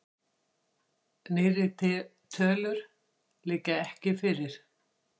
Nýrri tölur liggja ekki fyrir.